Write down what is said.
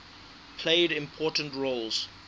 played important roles